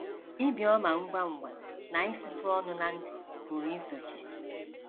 Ibi ọma ngwa ngwa na isutụ ọnụ na ntì pụrụ isochi.